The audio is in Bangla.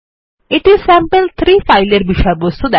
এটি স্যাম্পল3 ফাইলের বিষয়বস্তু